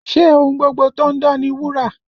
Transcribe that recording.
Ṣé ohun gbogbo tó ń dán ni wúrà?